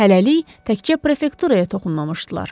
Hələlik təkcə prefekturaya toxunmamışdılar.